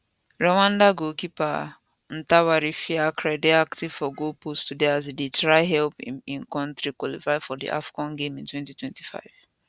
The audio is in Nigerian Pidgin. rwanda goalkeeperntwari fiacre dey active for goalpost today as e dey try help im kontri qualify for di afcon game in 2025